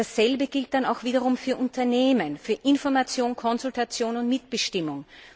Dasselbe gilt dann auch wiederum für Unternehmen, für Information, Konsultation und Mitbestimmung.